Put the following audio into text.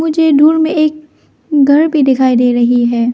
मुझे दुर में एक घर भी दिखाई दे रही है।